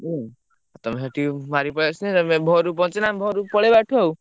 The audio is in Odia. ହୁଁ ତମେ ସେଠି ବହରିକି ପଳେଇଆସିଲେ, ଘରକୁ ପହଁଚିଲେ ଆମେ ଘରୁ ପଳେଇବା ଏଠୁ ଆଉ।